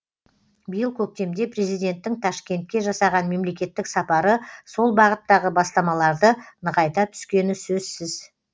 биыл көктемде президенттің ташкентке жасаған мемлекеттік сапары сол бағыттағы бастамаларды нығайта түскені сөзсіз